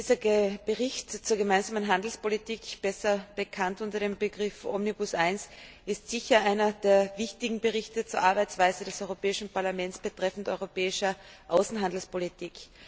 Dieser Bericht zur gemeinsamen Handelspolitik, besser bekannt unter dem Begriff Omnibus I, ist sicher einer der wichtigen Berichte zur Arbeitsweise des Europäischen Parlaments betreffend die europäische Außenhandelspolitik.